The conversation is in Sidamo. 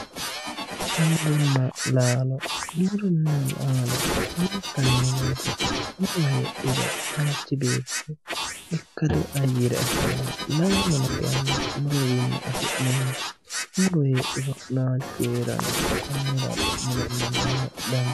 Muronna laalo muronna laalo lowontanni danchate muro heedhuro manchi beetti ikkado ayyare afiranno laalono kayinni murotewiinni afi'neemmo muro heedhuro laalchu heeranno konniraati muronna laalo danchate yineemmohu